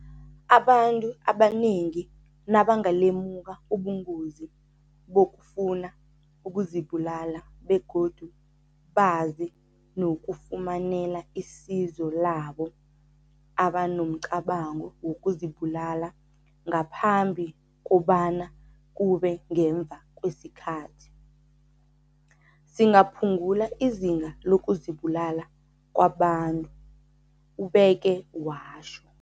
"Abantu abanengi nabangalemuka ubungozi bokufuna ukuzibulala begodu bazi nokufumanela isizo labo abanomcabango wokuzibulala ngaphambi kobana kube ngemva kwesikhathi, singaphungula izinga lokuzibulala kwabantu," ubeke watjho.